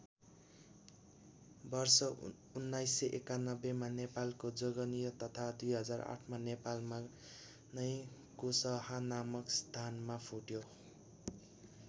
वर्ष १९९१ मा नेपालको जोगनिया तथा २००८ मा नेपालमा नै कुसहा नामक स्थानमा फुट्यो।